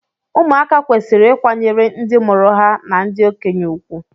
ụmụaka kwesịrị ịkwanyere ndị mụrụ ha na ndị okenye ùgwù